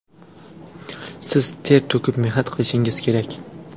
Siz ter to‘kib mehnat qilishingiz kerak.